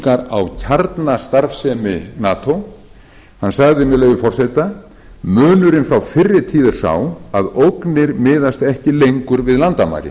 á kjarnastarfsemi nato hann sagði með leyfi forseta munurinn frá fyrri tíð er sá að ógnir miðast ekki lengur við landamæri